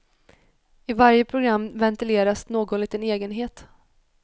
I varje program ventileras någon liten egenhet.